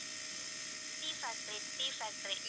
tea factory tea factory